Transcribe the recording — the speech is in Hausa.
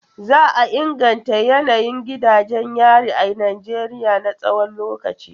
Za a inganta yanayin gidajen yari a Najeriya na tsawon lokaci.